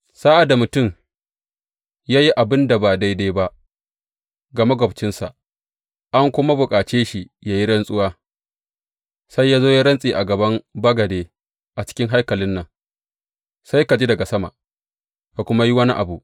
Sa’ad da mutum ya yi abin da ba daidai ba ga maƙwabcinsa, an kuma bukace shi yă yi rantsuwa, sai ya zo ya rantse a gaban bagade a cikin haikalin nan, sai ka ji daga sama, ka kuma yi wani abu.